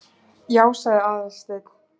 Já- sagði Aðalsteinn.